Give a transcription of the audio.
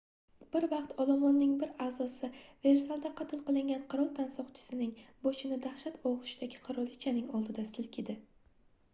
bir vaqt olomonning bir aʼzosi versalda qatl qilingan qirol tansoqchisining boshini dahshat ogʻushidagi qirolichaning oldida silkidi